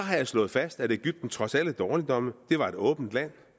slået fast at egypten trods alle dårligdomme var et åbent land